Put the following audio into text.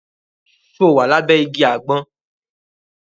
Ṣo wà lábẹ́ igi àgbọn?